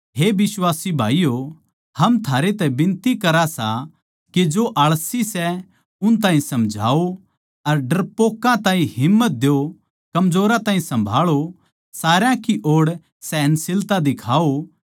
हे बिश्वासी भाईयो हम थमनै बिनती करां सां के जो आलसी सै उन ताहीं समझाओ डरपोकां ताहीं हिम्मत द्यो कमजोरां ताहीं सम्भाळो सारया की ओड़ सहनशीलता दिखाओ